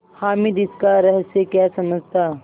हामिद इसका रहस्य क्या समझता